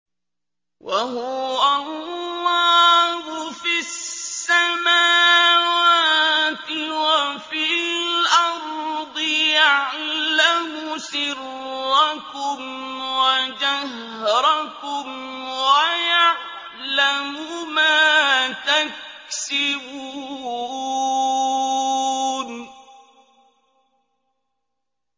وَهُوَ اللَّهُ فِي السَّمَاوَاتِ وَفِي الْأَرْضِ ۖ يَعْلَمُ سِرَّكُمْ وَجَهْرَكُمْ وَيَعْلَمُ مَا تَكْسِبُونَ